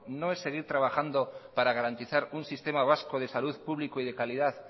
no es seguir trabajando para garantizar un sistema vasco de salud público y de calidad